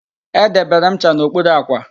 Edebere m ncha n'okpuru àkwà